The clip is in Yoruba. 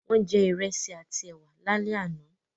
Wọ́n jẹ Ìrẹ́sì àti ẹwà lálẹ́ àná